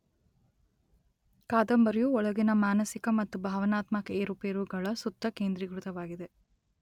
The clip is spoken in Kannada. ಕಾದಂಬರಿಯು ಒಳಗಿನ ಮಾನಸಿಕ ಮತ್ತು ಭಾವನಾತ್ಮಕ ಏರುಪೇರುಗಳ ಸುತ್ತ ಕೇಂದ್ರಿಕೃತವಾಗಿದೆ.